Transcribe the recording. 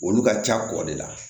Olu ka ca kɔ de la